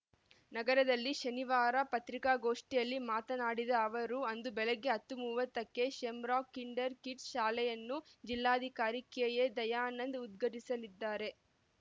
ನಗರದಲ್ಲಿ ಶನಿವಾರ ಪತ್ರಿಕಾಗೋಷ್ಠಿಯಲ್ಲಿ ಮಾತನಾಡಿದ ಅವರು ಅಂದು ಬೆಳಗ್ಗೆ ಹತ್ತು ಮೂವತ್ತಕ್ಕೆ ಶೆಮ್ರಾಕ್‌ ಕಿಂಡರ ಕಿಡ್ಸ್‌ ಶಾಲೆಯನ್ನು ಜಿಲ್ಲಾಧಿಕಾರಿ ಕೆ ಎ ದಯಾನಂದ್‌ ಉದ್ಘಾಟಿಸಲಿದ್ದಾರೆ